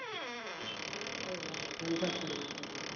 આવ હવ જલસા જ કરું એમ